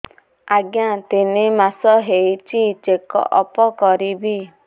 ଆଜ୍ଞା ତିନି ମାସ ହେଇଛି ଚେକ ଅପ କରିବି